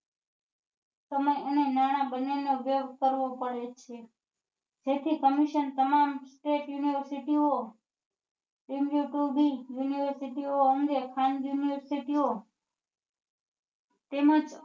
સમય અને નાણા બંને નો વ્યય કરવો પડે છે જેથી commission તમામ state university ઓ તેમની કોઈ બી university અંગે ખાનગી university ઓ તેમજ